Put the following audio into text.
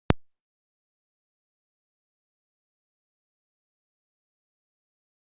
Björn Þorláksson: Þannig að menn eru kátir?